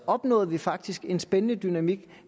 opnåede vi faktisk en spændende dynamik